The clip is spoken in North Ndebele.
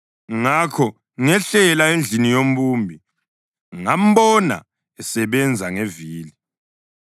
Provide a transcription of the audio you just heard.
Ngakho ngehlela endlini yombumbi, ngambona esebenza ngevili.